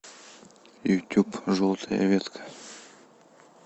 ютуб желтая ветка